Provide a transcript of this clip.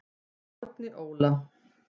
Árni Óla.